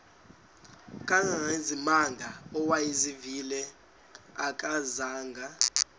kangangezimanga awayezivile akazanga